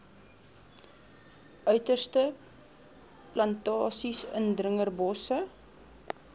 uiterstes plantasies indringerbosse